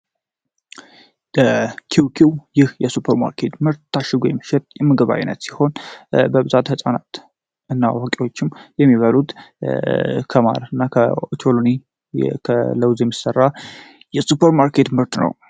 ይህ ኪውኪው የሱፐርማርኬት ምርት ታሽጎ የሚሸጥ ሲሆን በብዛት ህጻናት እና አዋቂዎችም የሚበሉት ከቅባት እና ከኦቾሎኒ የሚሰራ የሱፐርማርኬት ምርት ነው።